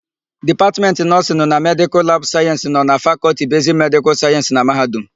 Dipatmentị Nọọsịnụ na Medịkal labụ Sayensị na-anọ na Fakọlti Besiki Medịkal Sayensị na mahadum.